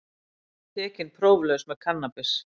Tekinn próflaus með kannabis